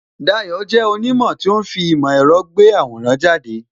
Dayo jẹ́ onimo tó ń fi ìmò èrò gbé àwòrán jáde